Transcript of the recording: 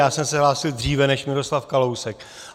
Já jsem se hlásil dříve než Miroslav Kalousek.